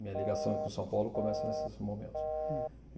Minha ligação com São Paulo começa nesses momentos.